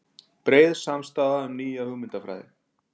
Breið samstaða um nýja hugmyndafræði